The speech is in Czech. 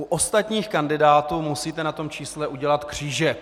U ostatních kandidátů musíte na tom čísle udělat křížek.